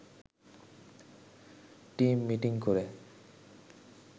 team meeting করে